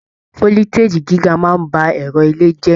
Foliteji gíga máa n bá ẹrọ ilé jẹ.